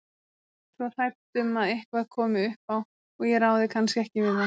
Svo hrædd um að eitthvað komi upp á og ég ráði kannski ekki við það.